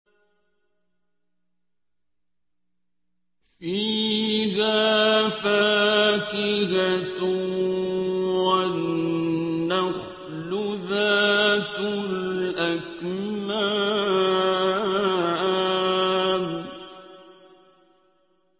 فِيهَا فَاكِهَةٌ وَالنَّخْلُ ذَاتُ الْأَكْمَامِ